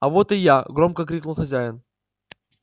а вот и я громко крикнул хозяин